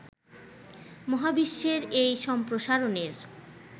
মহাবিশ্বের এই সম্প্রসারণের